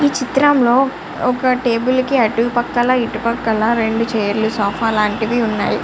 ఈ చిత్రంలో ఒక టేబుల్ కి అటు పక్కలా ఇటు పక్కల రెండు చైర్లు సోఫా అలాంటివి ఉన్నాయి.